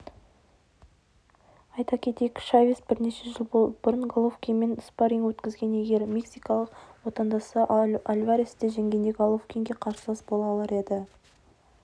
айта кетейік чавес бірнеше жыл бұрын головкинмен спарринг өткізген егер мексикалық отандасы альваресті жеңгенде головкинге қарсылас бола алар еді